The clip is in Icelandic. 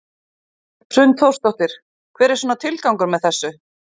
Hrund Þórsdóttir: Hver er svona tilgangur með þessu?